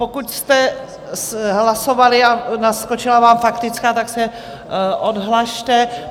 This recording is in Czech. Pokud jste hlasovali a naskočila vám faktická, tak se odhlaste.